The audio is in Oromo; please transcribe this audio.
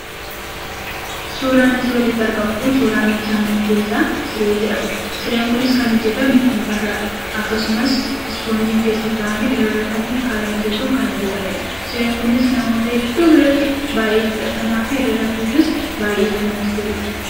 Suuraan asii olitti argamu kun suuraa meeshaa mana keessaa, siree jedhamudha. Sireen kunis kan hojjatame , mukarraa akkasumas ispoonjiin keessa kaawwamee irra rafamuuf haala mijatuun kan hojjatamedha. Sireen kunis namoota hedduu biratti baayyee fudhatamaafi irra rafuufis baayyee kan namatti toludha.